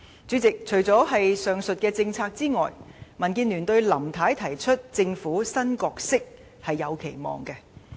主席，除了上述政策之外，對於林太提出的政府新角色，民建聯也是有期望的。